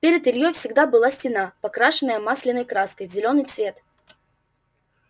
перед ильёй всегда была стена покрашенная масляной краской в зелёный цвет